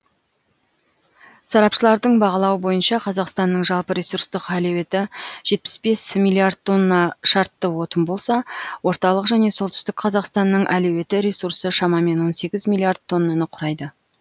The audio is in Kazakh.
сарапшылардың бағалауы бойынша қазақстанның жалпы ресурстық әлеуеті жетпіс бес миллиард тонна шартты отын болса орталық және солтүстік қазақстанның әлеуетті ресурсы шамамен он сегіз миллиард тоннаны құрайды